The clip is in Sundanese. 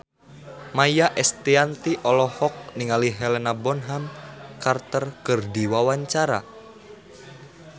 Maia Estianty olohok ningali Helena Bonham Carter keur diwawancara